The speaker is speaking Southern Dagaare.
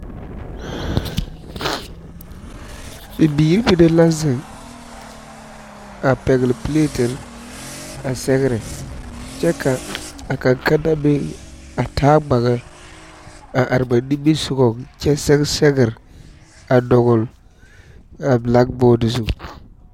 Bibiiri mine la zeŋ a pɛgle piletere a sɛgrɛ kyɛ ka a kanne kanna meŋ a taa gbage a are ba nimisɔgaŋ kyɛ sɛge sɛgre a dogli a bilbootɔ zu.